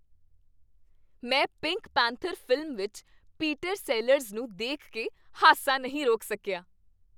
ਮੈਂ Pink Panther film ਵਿੱਚ Peter Sellers ਨੂੰ ਦੇਖ ਕੇ ਹਾਸਾ ਨਹੀਂ ਰੋਕ ਸਕਿਆ।